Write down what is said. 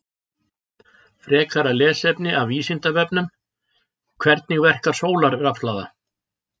Frekara lesefni af Vísindavefnum: Hvernig verkar sólarrafhlaða?